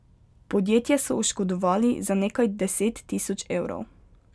Podjetje so oškodovali za nekaj deset tisoč evrov.